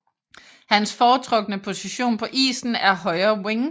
Hans foretrukne position på isen er højre wing